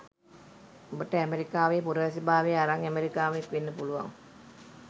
උඹට ඇමෙරිකාවේ පුරවැසිබාවය අරන් ඇමරිකානුවෙක් වෙන්න පුළුවන්